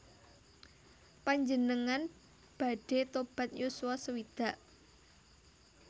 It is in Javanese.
Panjenengan badhe tobat yuswa sewidak